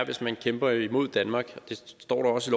hvis man kæmper imod danmark der står også